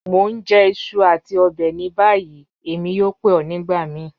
Mo n jẹ iṣu ati ọbẹ ni bayi, Emi yoo pe ọ nigbamii.